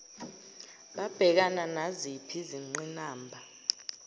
babhekana naziphi izinqinamba